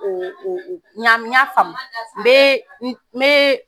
n ɲa faamu n bɛ n bɛ